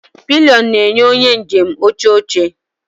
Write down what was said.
Pilion na-enye onye njem oche oche.